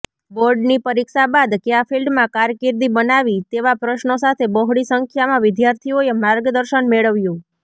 બોર્ડની પરીક્ષા બાદ કયાં ફિલ્ડમાં કારકીર્દી બનાવી તેવા પ્રશ્ર્નો સાથે બહોળી સંખ્યામાં વિદ્યાર્થીઓએ માર્ગદર્શન મેળવ્યું